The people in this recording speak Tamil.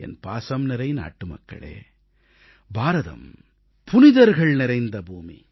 என் பாசம்நிறை நாட்டுமக்களே பாரதம் புனிதர்கள் நிறைந்த பூமி